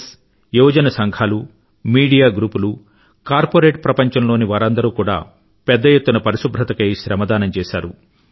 yes యువజన సంఘాలు media గ్రూపులు కార్పరేట్ ప్రపంచంలోనివారందరూ కూడా పెద్ద ఎత్తున పరిశుభ్రతకై శ్రమదానం చేశారు